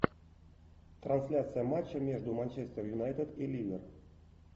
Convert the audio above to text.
трансляция матча между манчестер юнайтед и ливер